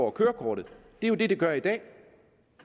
af kørekortet det er jo det det gør i dag